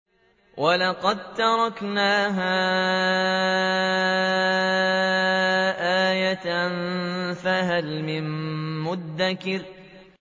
وَلَقَد تَّرَكْنَاهَا آيَةً فَهَلْ مِن مُّدَّكِرٍ